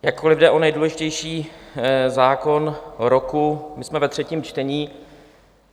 Jakkoliv jde o nejdůležitější zákon roku, my jsme ve třetím čtení.